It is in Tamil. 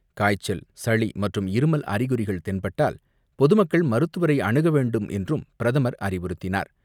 காய்ச்சல், சளிமற்றும் இருமல் அறிகுறிகள் தென்பட்டால் பொதுமக்கள் மருத்துவரை அணுக வேண்டுமென்றும் பிரதமர் அறிவுறுத்தினார்.